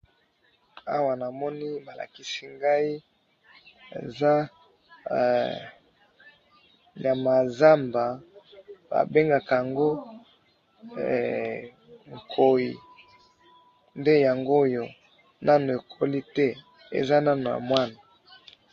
awa namoni balakisi ngayi eza nyamya ya zamba ba bengaka yango nkoyi nde yangoyonanu ekoli te eza nanu na mwana